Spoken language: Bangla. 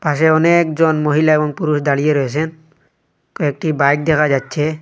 পাশে অনেকজন মহিলা এবং পুরুষ দাঁড়িয়ে রয়েছেন কয়েকটি বাইক দেখা যাচ্ছে।